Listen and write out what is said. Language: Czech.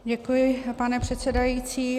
Děkuji, pane předsedající.